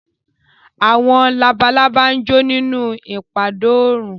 Àwọn labalábá jó nínú ìpadó oòrùn